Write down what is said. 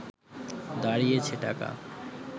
দাঁড়িয়েছে টাকা